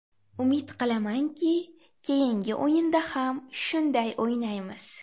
Umid qilamanki, keyingi o‘yinda ham shunday o‘ynaymiz.